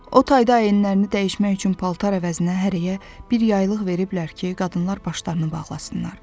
O tayda əyinlərini dəyişmək üçün paltar əvəzinə hərəyə bir yaylıq veriblər ki, qadınlar başlarını bağlasınlar.